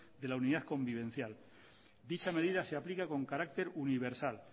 de la unidad convivencial dicha medida se aplica con carácter universal